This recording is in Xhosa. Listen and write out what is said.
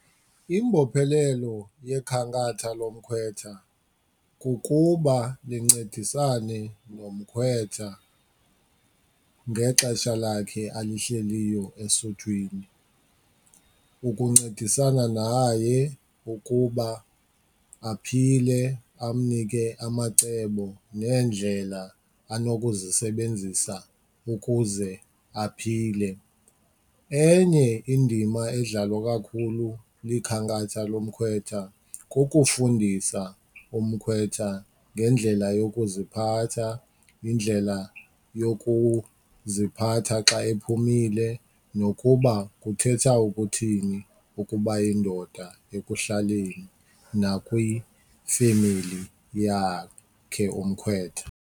Imbophelelo yekhankatha lomkhwetha kukuba lincedisa nomkhwetha ngexesha lakhe alihleliyo esuthwini. Ukuncedisana naye ukuba aphile, amnike amacebo neendlela anokuzisebenzisa ukuze aphile. Enye indima edlalwa kakhulu likhankatha lomkhwetha kukufundisa umkhwetha ngendlela yokuziphatha, indlela yokuziphatha xa ephumile nokuba kuthetha ukuthini ukuba yindoda ekuhlaleni nakwifemeli yakhe umkhwetha.